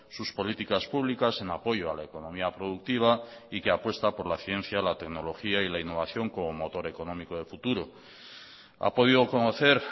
sus políticas publicas en apoyo a la economía productiva y que apuesta por la ciencia la tecnología y la innovación como motor económico de futuro ha podido conocer